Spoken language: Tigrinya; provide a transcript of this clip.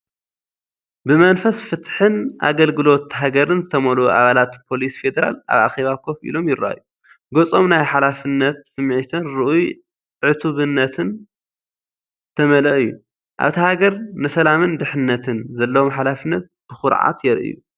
ብመንፈስ ፍትሕን ኣገልግሎት ሃገርን ዝተመልኡ ኣባላት ፖሊስ ፌደራል ኣብ ኣኼባ ኮፍ ኢሎም ይረኣዩ። ገጾም ናይ ሓላፍነት ስምዒትን ርኡይ ዕቱብነትን ዝተመልአ እዩ፤ ኣብታ ሃገር ንሰላምን ድሕንነትን ዘለዎም ሓላፍነት ብኹርዓት የርእዩ።